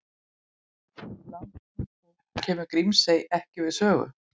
Í Landnámabók kemur Grímsey ekki við sögu.